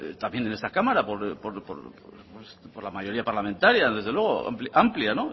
también en esta cámara por la mayoría parlamentaria desde luego amplia